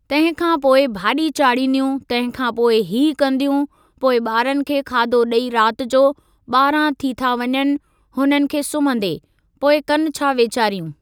तंहिं खां पोइ भाॼी चाड़ींदियूं तंहिं खां पोइ हीअ कंदियूं पोइ ॿारनि खे खाधो ॾेई रात जो ॿारहां थी था वञनि हुननि खे सुम्हंदे, पोइ कनि छा वेचारियूं।